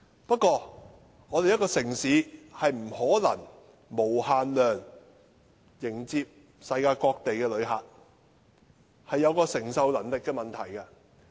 不過，一個城市不可能無限量接待世界各地的旅客，這是承受能力的問題。